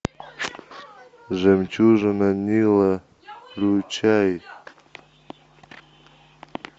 жемчужина нила включай